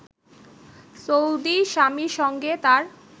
Saudi স্বামীর সঙ্গে তার